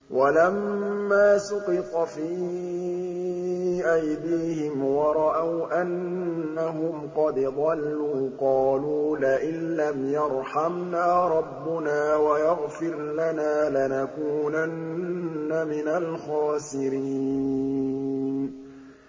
وَلَمَّا سُقِطَ فِي أَيْدِيهِمْ وَرَأَوْا أَنَّهُمْ قَدْ ضَلُّوا قَالُوا لَئِن لَّمْ يَرْحَمْنَا رَبُّنَا وَيَغْفِرْ لَنَا لَنَكُونَنَّ مِنَ الْخَاسِرِينَ